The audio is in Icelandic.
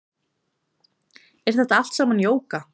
Er þetta allt saman jóga